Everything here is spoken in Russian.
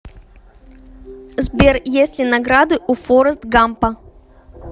сбер есть ли награды у форрест гампа